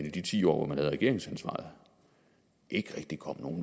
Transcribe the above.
i de ti år hvor man havde regeringsansvaret ikke rigtig kom nogen